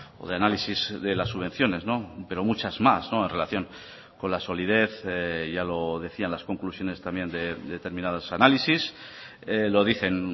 o de análisis de las subvenciones pero muchas más en relación con la solidez ya lo decían las conclusiones también de determinados análisis lo dicen